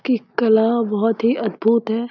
की कला बहुत ही अद्भुत है --